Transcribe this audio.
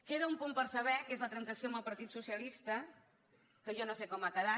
queda un punt per saber que és la transacció amb el partit socialista que jo no sé com ha quedat